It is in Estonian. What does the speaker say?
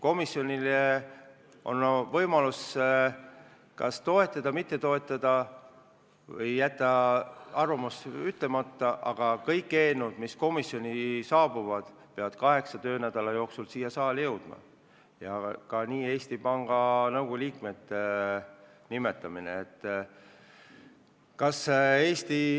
Komisjonil on võimalus ettepanekut kas toetada, mitte toetada või jätta arvamus ütlemata, aga kõik eelnõud mis komisjoni saabuvad, peavad kaheksa töönädala jooksul siia saali jõudma, ja nii ka Eesti Panga Nõukogu liikmete nimetamise otsus.